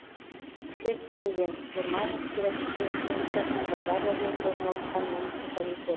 хеттинген германия федеративтік республикасының бавария жерінде орналасқан муниципалитет